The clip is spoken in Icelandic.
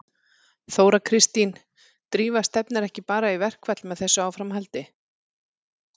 Þóra Kristín: Drífa stefnir ekki bara í verkfall með þessu áframhaldi?